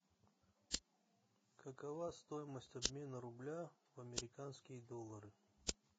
какова стоимость обмена рубля в американские доллары